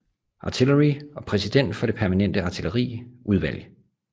Artillery og præsident for det permanente artilleri udvalg